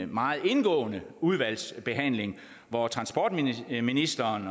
meget indgående udvalgsbehandling hvor transportministeren